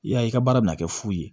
I y'a ye i ka baara bɛna kɛ fu ye